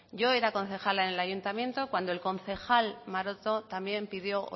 yo era concejala en el ayuntamiento cuando el concejal maroto también pidió